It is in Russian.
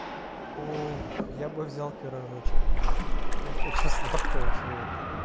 ох я бы взял пирожочек блин я хочу сладкого чего-то